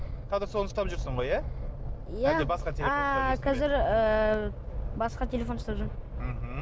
қазір соны ұстап жүрсің ғой иә иә ааа қазір ііі басқа телефон ұстап жүрмін мхм